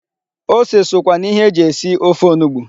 Ose sokwa na ihe e ji esi ofe onugbu.